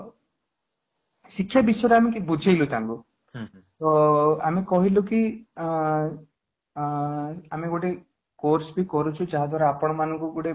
ଶିକ୍ଷା ବିଷୟରେ ଆମେ ବୁଝେଇଲୁ ତାଙ୍କୁ ତ ଆମେ କହିଲୁ କିଆଁ ଆମେ ଗୋଟେ course ବି କରୁଚୁ ଯାହା ଦ୍ୱାରା ଆପଣ ମାନଙ୍କୁ ଗୋଟେ